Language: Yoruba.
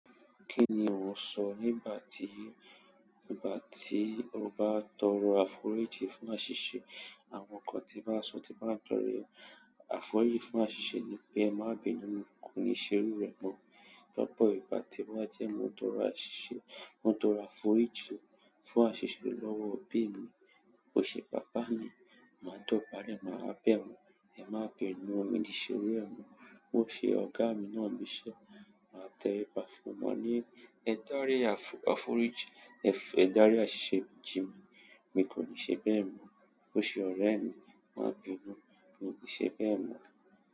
Kí ni ò ń sọ nígbà tí, nígbà tí o bá tọrọ àforíjì fún àṣìṣe, àwọn nǹkan tí bá sọ, tí bá ń tọrọ àforíjì fún àṣìṣe ni pé ẹ má bínú, mo kò ní ṣe iru rẹ mọ́. Lọ́pọ̀ ìgbà tí ba ti, toro àṣìṣe, mo tọrọ àforíjì fún àṣìṣe lọ́wọ́ òbí mi. Ó ṣe pápá mi, màá dọ̀bálẹ̀, màá bẹ̀ wọ́n. Ẹ má bínú, mi ò ní ṣe iru ẹ mọ́. Ó ṣe ọ̀gá mi náà ń bi sẹ́, màá tẹríba fún ní, ma ni, ẹ dá rí àforíjì, ẹ dá rí àṣìṣe jí mi, mi kò ní ṣe bẹ́ẹ̀ mọ́. O se ọrẹ mi, ma bínú, mi o ni se bẹ́ẹ̀ mo.